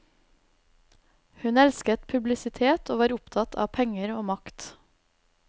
Hun elsket publisitet og var opptatt av penger og makt.